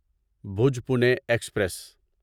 بھوج پونی ایکسپریس